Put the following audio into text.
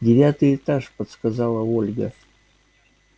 девятый этаж подсказала ольга